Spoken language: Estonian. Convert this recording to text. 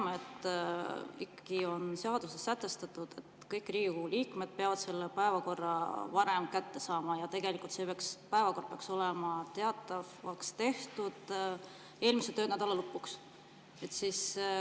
Me teame, et seaduses on sätestatud, et kõik Riigikogu liikmed peavad päevakorra varem kätte saama, ja tegelikult peaks päevakord olema teatavaks tehtud eelmise töönädala lõpuks.